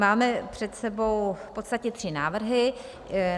Máme před sebou v podstatě tři návrhy.